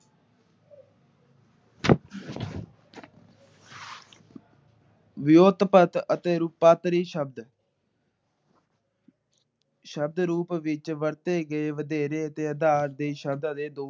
ਰੂਪਾਂਤਰੀ ਸ਼ਬਦ ਸ਼ਬਦ ਰੂਪ ਵਿੱਚ ਵਰਤੇ ਗਏ ਦੇ ਵਧੇਰੇ ਅਤੇ ਦੇ ਅਧਾਰ ਸ਼ਬਦਾਂ ਦੇ ਦੋ